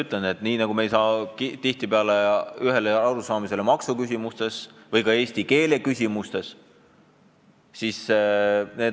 Samuti me ei jõua tihtipeale ühele arusaamale näiteks maksuküsimustes ja eesti keele küsimustes.